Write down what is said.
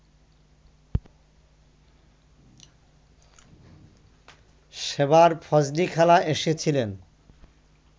সেবার ফজলিখালা এসেছিলেন